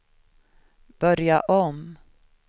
börja om